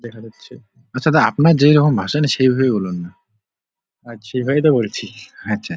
দেখা যাচ্ছে আচ্ছা আপনি যেই ভাষা জানেন সেই ভাবে বলুননা সেই ভাবেই বলছি আচ্ছা।